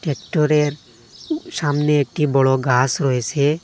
ট্রাক্টরের সামনে একটি বড়ো গাস রয়েসে ।